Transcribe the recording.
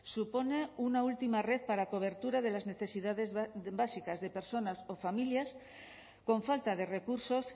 supone una última red para cobertura de las necesidades básicas de personas o familias con falta de recursos